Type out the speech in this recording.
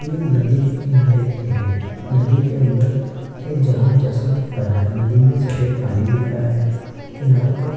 वे नदी के किनारे की है नदी के अंदर एक जहाज जैसा दिख रहा है नदी में सफेद पानी दिख रहा है किनारों पर --